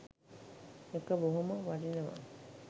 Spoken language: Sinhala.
ඒක බොහොම වටිනව.